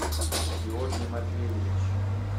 георгий матвеевич